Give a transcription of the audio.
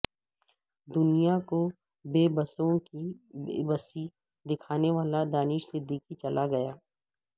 دنیا کو بے بسوں کی بے بسی دکھانے والا دانش صدیقی چلا گیا